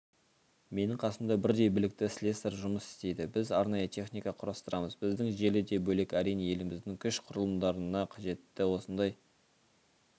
менің қасымда бірдей білікті слесарь жұмыс істейді біз арнайы техника құрастырамыз біздің желі де бөлек әрине еліміздің күш құрылымдарына қажетті осындай